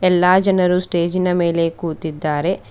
ಎಲ್ಲಾ ಜನರು ಸ್ಟೇಜಿನ ಮೇಲೆ ಕೂತಿದ್ದಾರೆ.